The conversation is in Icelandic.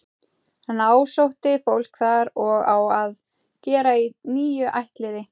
Hann ásótti fólk þar og á að gera í níu ættliði.